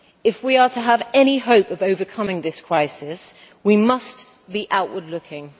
If we are to have any hope of overcoming this crisis, we must be outward looking.